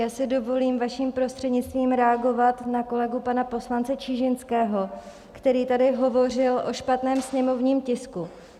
Já si dovolím vaším prostřednictvím reagovat na kolegu pana poslance Čižinského, který tady hovořil o špatném sněmovním tisku.